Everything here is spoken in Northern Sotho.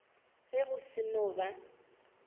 ge go se no ba